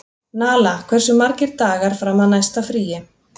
Nala, hversu margir dagar fram að næsta fríi?